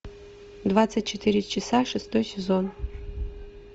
двадцать четыре часа шестой сезон